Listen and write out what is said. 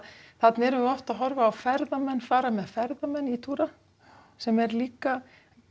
þarna erum við oft að horfa á ferðamenn fara með ferðamenn í túra sem er líka